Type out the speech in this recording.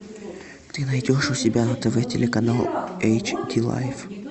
ты найдешь у себя на тв телеканал эйч ди лайф